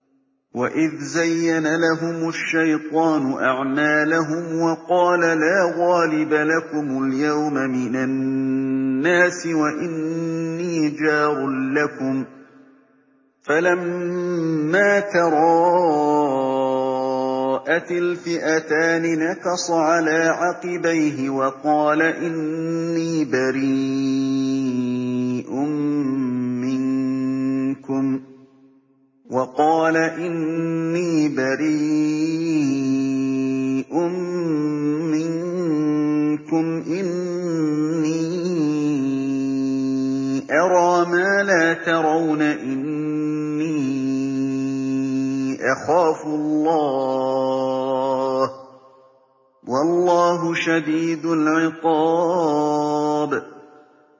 وَإِذْ زَيَّنَ لَهُمُ الشَّيْطَانُ أَعْمَالَهُمْ وَقَالَ لَا غَالِبَ لَكُمُ الْيَوْمَ مِنَ النَّاسِ وَإِنِّي جَارٌ لَّكُمْ ۖ فَلَمَّا تَرَاءَتِ الْفِئَتَانِ نَكَصَ عَلَىٰ عَقِبَيْهِ وَقَالَ إِنِّي بَرِيءٌ مِّنكُمْ إِنِّي أَرَىٰ مَا لَا تَرَوْنَ إِنِّي أَخَافُ اللَّهَ ۚ وَاللَّهُ شَدِيدُ الْعِقَابِ